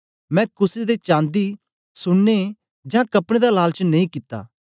मैं कुसे दे चांदी सुन्ने जां कपड़े दा लालच नेई कित्ता